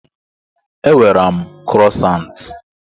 Enwere m krosant.